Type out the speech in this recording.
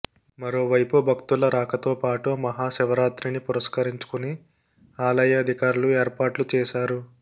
మరోవైపు భక్తుల రాకతో పాటు మహాశివరాత్రిని పురస్కరించుకుని ఆలయ అధికారులు ఏర్పాట్లు చేశారు